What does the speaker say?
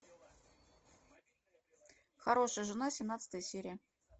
хорошая жена семнадцатая серия